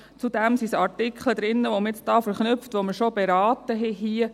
Zudem sind Artikel drin, welche man verknüpft, die man hier schon beraten hat.